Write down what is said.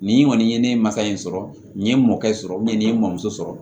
Nin kɔni ye ne ye masa in sɔrɔ nin ye n mɔkɛ sɔrɔ nin ye n sɔrɔ